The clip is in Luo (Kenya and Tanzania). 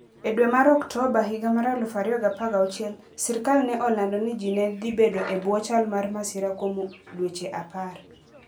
E dwe mar Oktoba 2016, sirkal ne olando ni ji ne dhi bedo e bwo chal mar masira kuom dweche 10.